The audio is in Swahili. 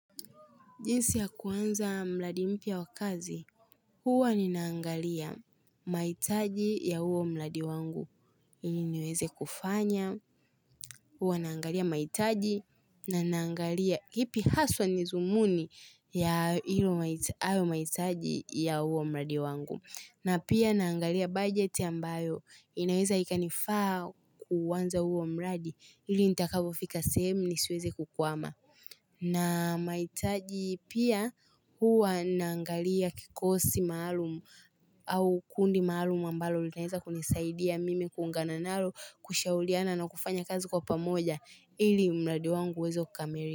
Jinsi ya kuanza mradi mpya wa kazi, huwa ninaangalia mahitaji ya huo mradi wangu. Ili niweze kufanya, huwa naangalia mahitaji na naangalia ipi haswa nidhumuni ya hio hayo mahitaji ya huo mradi wangu. Na pia naangalia budget ambayo inaweza ikanifaa kuanza huo mradi ili nitakavofika sehemu ni siweze kukugwama. Na mahitaji pia huwa naangalia kikosi maalumu au kundi maalumu ambalo linaeza kunisaidia mimi kuungana nalo kushauriana na kufanya kazi kwa pamoja ili mradi wangu uweze kukamilika.